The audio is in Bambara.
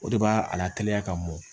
O de b'a a lateliya ka mɔn